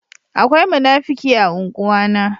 Akwai munafuki a ungwa na.